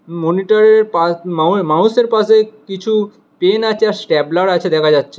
মনিটরের পা মাউয়ে মাউসের পাশে কিছু পেন আচে আর স্ট্যাপলার আছে দেখা যাচ্ছে।